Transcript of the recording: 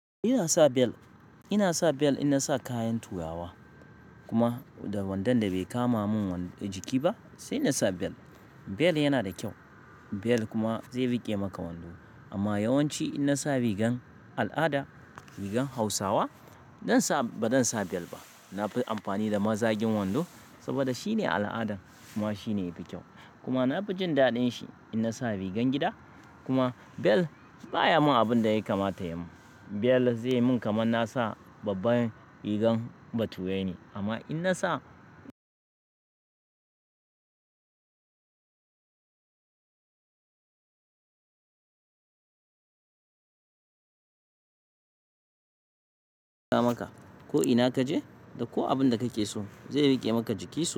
Ina sa belt, ina sa belt ina sa kayan turawa kuma da wandon da bai kama mun jiki ba sai na sa belt. Bel yana da kyau, bel kuma zai riƙe maka wando. Amma yawanci ina nasa rigan al'ada, rigan Hausawa zai sa ba zan sa belt ba. Na fi amfani da mazagin wando saboda shine al'adan kuma shine yafi kyau. Kuma na fi jin daɗin shi in nasa rigan gida. Kuma belt baya min abin da ya kamata ya min. Belt zai min kamar nasa babban rigar baturai ne. Amma ina sa maka ko ina kaje da ko abin da kake so zai riƙe maka jikinsu.